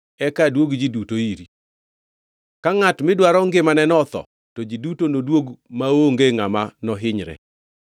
eka aduog ji duto iri. Ka ngʼat midwaro ngimaneni otho; to ji duto noduog maonge ngʼama nohinyre.”